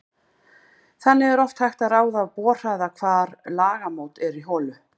Þannig er oft hægt að ráða af borhraða hvar lagamót eru í holu.